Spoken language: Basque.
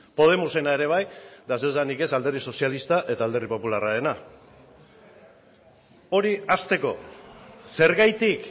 podemosena ere bai eta zer esanik ez alderdi sozialista eta alderdi popularrarena hori hasteko zergatik